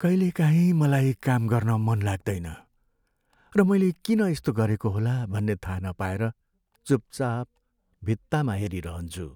कहिलेकाहीँ मलाई काम गर्न मन लाग्दैन र मैले किन यस्तो गरेको होला भन्ने थाहा नपाएर चुपचाप भित्तामा हेरिरहन्छु।